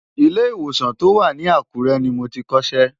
Ilé ìwòsàn tó wà ní Àkúrẹ́ ni mo ti kọ́ṣẹ́.